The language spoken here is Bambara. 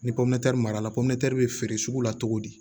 Ni mara la bɛ feere sugu la cogo di